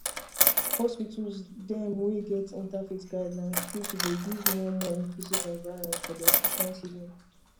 hospitals dem wey get interfaith guidelines truetrue dey give more more inclusive environment for their patients healin